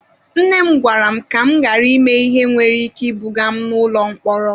Nne m gwara m ka m ghara ime ihe nwere ike ibuga m n'ụlọ mkpọrọ.